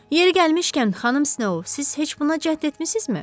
Yeri gəlmişkən, xanım Snow, siz heç buna cəhd etmisinizmi?